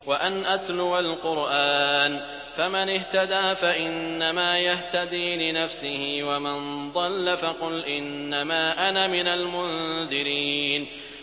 وَأَنْ أَتْلُوَ الْقُرْآنَ ۖ فَمَنِ اهْتَدَىٰ فَإِنَّمَا يَهْتَدِي لِنَفْسِهِ ۖ وَمَن ضَلَّ فَقُلْ إِنَّمَا أَنَا مِنَ الْمُنذِرِينَ